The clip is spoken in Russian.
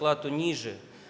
плату ниже